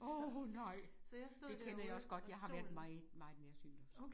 Åh nej! Det kender jeg også godt jeg har været meget meget nærsynet også